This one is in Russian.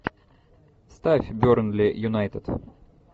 ставь бернли юнайтед